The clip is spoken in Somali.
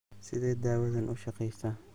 Sidee dawadani u shaqeysaa?